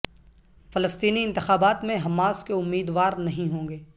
فلسطینی انتخابات میں حماس کے امیدوار نہیں ہوں گے